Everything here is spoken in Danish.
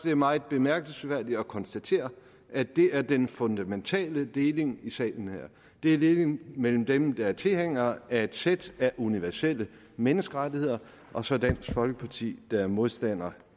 er meget bemærkelsesværdigt at konstatere at det er den fundamentale deling i salen her altså det er en deling mellem dem der er tilhængere af et sæt af universelle menneskerettigheder og så dansk folkeparti der er modstander